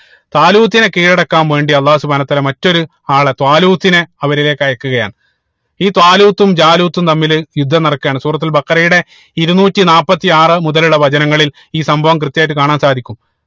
താലൂത്തിനെ കീഴടക്കാൻ വേണ്ടി അള്ളാഹു സുബ്‌ഹാന വാതല മറ്റൊരു ആളെ ത്വാലൂത്തിനെ അവരിലേക്ക് അയക്കുകയാണ് ഈ ത്വാലൂത്തും ജാലൂത്തും തമ്മിൽ യുദ്ധം നടക്കുകയാണ് സൂറത്തുൽ ബഖറയുടെ ഇരുന്നൂറ്റി നാപ്പത്തി ആറ് മുതലുള്ള വചനങ്ങളിൽ ഈ സംഭവം കൃത്യായിട്ട് കാണാൻ സാധിക്കും